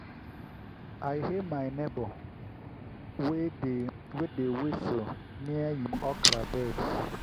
i hail my neighbor wey dey wey dey whistle near him okra beds.